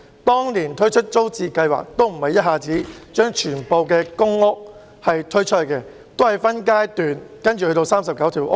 當年推出租置計劃時，並不是一下子把所有公屋推出，也是分階段，最終涵蓋39個屋邨。